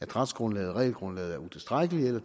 retsgrundlaget og regelgrundlaget er utilstrækkeligt eller